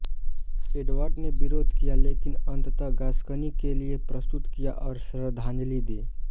Edward ने विरोध किया लेकिन अंततः गास्कनी के लिए प्रस्तुत किया और श्रद्धांजलि दी